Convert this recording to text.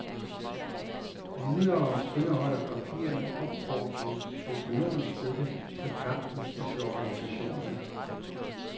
Videre indeholder papirerne opfordringer til økonomisk støtte til kampen og til organisationerne.